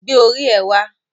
Gbé orí ẹ wá